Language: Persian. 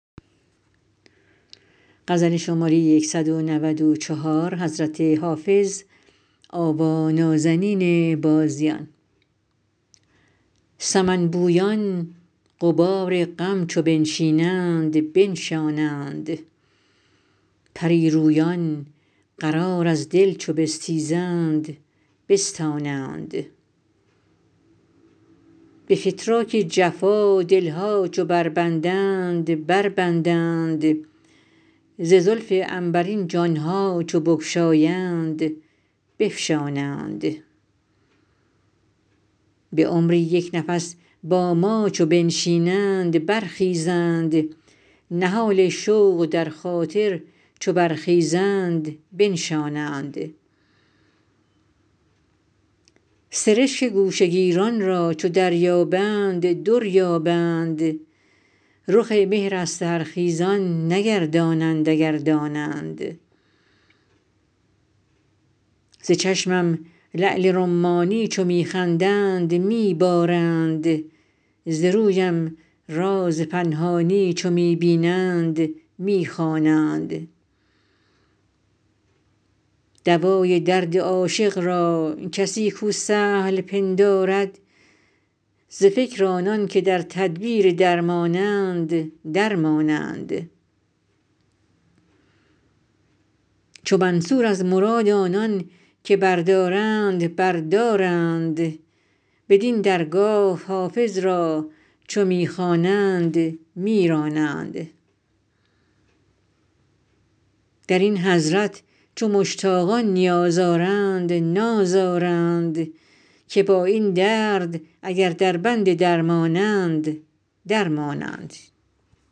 سمن بویان غبار غم چو بنشینند بنشانند پری رویان قرار از دل چو بستیزند بستانند به فتراک جفا دل ها چو بربندند بربندند ز زلف عنبرین جان ها چو بگشایند بفشانند به عمری یک نفس با ما چو بنشینند برخیزند نهال شوق در خاطر چو برخیزند بنشانند سرشک گوشه گیران را چو دریابند در یابند رخ مهر از سحرخیزان نگردانند اگر دانند ز چشمم لعل رمانی چو می خندند می بارند ز رویم راز پنهانی چو می بینند می خوانند دوای درد عاشق را کسی کو سهل پندارد ز فکر آنان که در تدبیر درمانند در مانند چو منصور از مراد آنان که بردارند بر دارند بدین درگاه حافظ را چو می خوانند می رانند در این حضرت چو مشتاقان نیاز آرند ناز آرند که با این درد اگر دربند درمانند در مانند